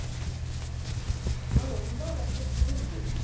ஆனா ரொம்ப வந்து குளிருது